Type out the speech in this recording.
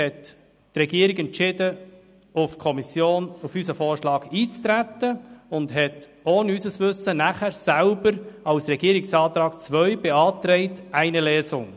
Nach unserer FiKo-Sitzung entschied sich die Regierung, auf unseren Vorschlag für Eintreten und beantragte danach ohne unser Wissen selber als Regierungsantrag II die Durchführung von nur einer Lesung.